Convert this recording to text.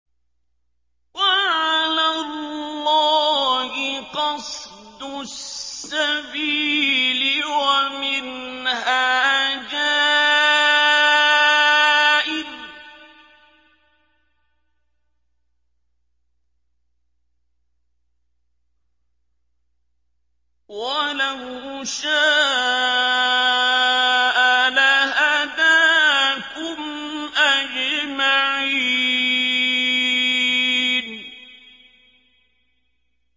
وَعَلَى اللَّهِ قَصْدُ السَّبِيلِ وَمِنْهَا جَائِرٌ ۚ وَلَوْ شَاءَ لَهَدَاكُمْ أَجْمَعِينَ